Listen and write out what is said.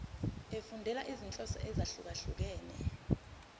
efundela izinhloso ezahlukehlukene